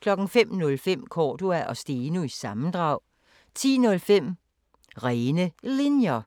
05:05: Cordua & Steno – sammendrag 10:05: Rene Linjer